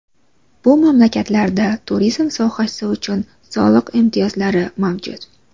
Bu mamlakatlarda turizm sohasi uchun soliq imtiyozlari mavjud.